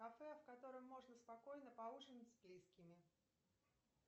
кафе в котором можно спокойно поужинать с близкими